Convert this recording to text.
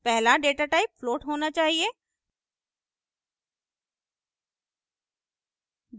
पहला data type float होना चाहिए